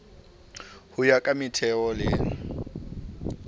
ho ya ka metheo le